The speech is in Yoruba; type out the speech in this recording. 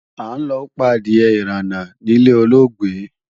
A ń lọ pa adìe-ìránà níle olóògbé.